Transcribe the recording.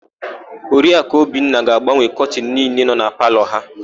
Oriaku Obinna ga-agbanwe kọtịnụ niile nọ na palọ ha.